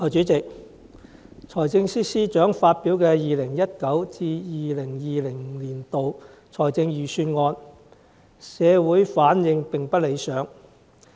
代理主席，財政司司長發表的 2019-2020 年度財政預算案，社會反應並不理想。